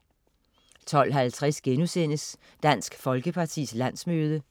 12.50 Dansk Folkepartis landsmøde*